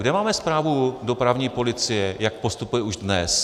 Kde máme zprávu dopravní policie, jak postupuje už dnes?